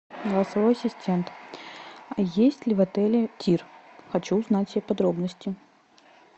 голосовой ассистент есть ли в отеле тир хочу узнать все подробности